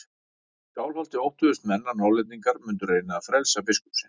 Í Skálholti óttuðust menn að Norðlendingar mundu reyna að frelsa biskup sinn.